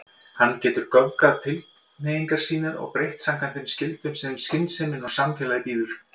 Hann getur göfgað tilhneigingar sínar og breytt samkvæmt þeim skyldum sem skynsemin og samfélagið býður.